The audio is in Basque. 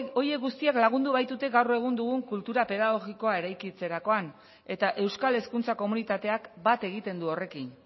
horiek guztiak lagundu baitute gaur egun dugun kultura pedagogikoa eraikitzerakoan eta euskal hezkuntza komunitateak bat egiten du horrekin